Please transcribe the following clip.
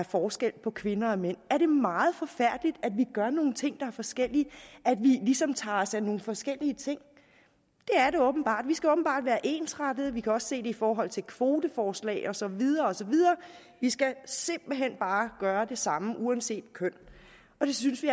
forskel på kvinder og mænd er det meget forfærdeligt at vi gør nogle ting er forskellige at vi ligesom tager os af nogle forskellige ting det er det åbenbart vi skal åbenbart være ensrettede vi kan også se det i forhold til kvoteforslag og så videre og så videre vi skal simpelt hen bare gøre det samme uanset køn og det synes vi